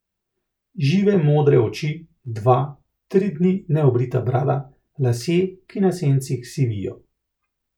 Žive modre oči, dva, tri dni neobrita brada, lasje, ki na sencih sivijo.